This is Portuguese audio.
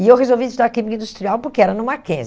E eu resolvi estudar química industrial porque era no Mackenzie.